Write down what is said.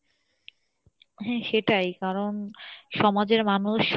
হ্যাঁ সেটাই কারন সমাজের মানুষ